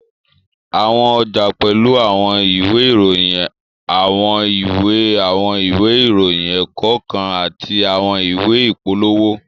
Àwọn ọjà pẹ́lú àwọn ìwé ìròyìn, àwọn ìwé àwọn ìwé ìròyìn ẹ̀kọ́ kan àti àwọn ìwé ìpolówó